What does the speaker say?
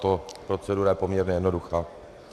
Tato procedura je poměrně jednoduchá.